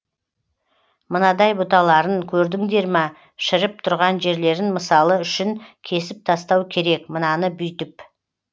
мынадай бұталарын көрдіңдер ма шіріп тұрған жерлерін мысалы үшін кесіп тастау керек мынаны бүйтіп